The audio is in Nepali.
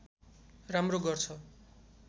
राम्रो गर्छ